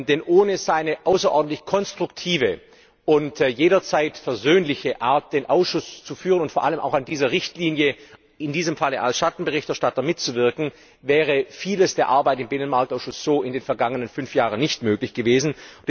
Denn ohne seine außerordentlich konstruktive und jederzeit versöhnliche Art, den Ausschuss zu führen und vor allem auch an dieser Richtlinie in diesem Falle als Schattenberichterstatter mitzuwirken, wäre viel von der Arbeit im Binnenmarktausschuss in den vergangenen fünf Jahren so nicht möglich gewesen.